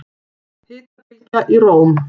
Hitabylgja í Róm